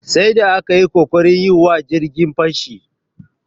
Sai da aka yi ƙoƙarin yi wa jirgin fashi.